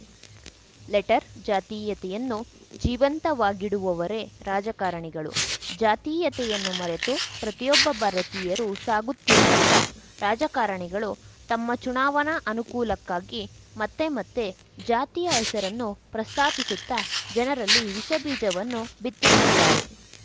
letter ಜಾತೀಯತೆಯನ್ನು ಜೀವಂತವಾಗಿಡುವವರೇ ರಾಜಕಾರಣಿಗಳು ಜಾತೀಯತೆಯನ್ನು ಮರೆತು ಪ್ರತಿಯೊಬ್ಬ ಭಾರತೀಯರು ಸಾಗುತ್ತಿರುವಾಗ ರಾಜಕಾರಣಿಗಳು ತಮ್ಮ ಚುನಾವಣಾ ಅನುಕೂಲಕ್ಕಾಗಿ ಮತ್ತೆ ಮತ್ತೆ ಜಾತಿಯ ಹೆಸರನ್ನು ಪ್ರಸ್ತಾಪಿಸುತ್ತಾ ಜನರಲ್ಲಿ ವಿಷ ಬೀಜವನ್ನು ಬಿತ್ತುತ್ತಿದ್ದಾರೆ